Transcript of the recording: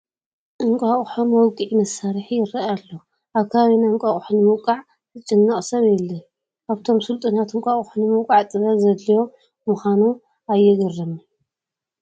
እንቋቑሖ መውቅዒ መሳርሒ ይርአ ኣሎ፡፡ ኣብ ከባቢና እንቋቑሖ ንምውቃዕ ዝጭነቅ ሰብ የለን፡፡ ኣብቶም ስልጡናት እንቋቑሖ ንምውቃዕ ጥበብ ዘድለዮ ምዃኑ ኣየግርምን?